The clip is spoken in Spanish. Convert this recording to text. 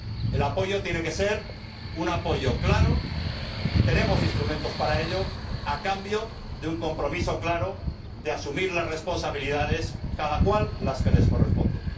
El apoyo tiene que ser un apoyo claro y tenemos instrumentos para ello, a cambio de un compromiso claro de asunción de las responsabilidades, cada cual las que le corresponden.